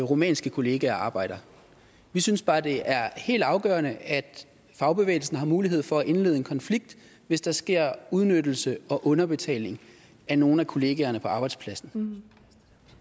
rumænske kollegaer og arbejde vi synes bare det er helt afgørende at fagbevægelsen har mulighed for at indlede en konflikt hvis der sker udnyttelse og underbetaling af nogle af kollegaerne på arbejdspladsen